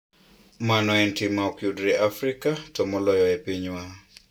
Mano en tim ma ok yudre e Afrika, to moloyo e pinywa".